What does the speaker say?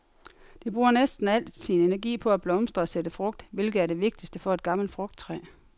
Det bruger næsten al sin energi på at blomstre og sætte frugt, hvilket er det vigtigste for et gammelt frugttræ.